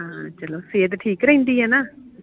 ਹਾਂ ਚਲੋ ਸਹਿਤ ਠੀਕ ਰਹਿੰਦੀ ਆ ਨਾ?